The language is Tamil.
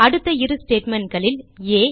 அடுத்த இரு statementகளில் ஆ